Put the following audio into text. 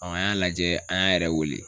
Ɔn an y'a lajɛ an y'an yɛrɛ wele